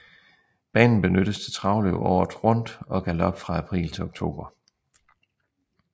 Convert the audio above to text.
Banen benyttes til travløb året rundt og galop fra april til oktober